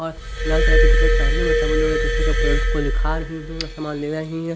और लाल कलर का टी शर्ट पहनी हुई सभी एक दूसरे पेड़ को दिखा रही है सामान ले रही है।